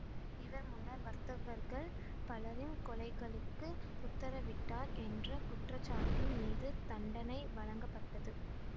இவர் முன்னர் வர்த்தகர்கள் பலரின் கொலைகளுக்கு உத்தரவிட்டார் என்ற குற்றச்சாட்டின் மீது தண்டனை வழங்கப்பட்டது